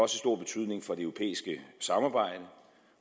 stor betydning for det europæiske samarbejde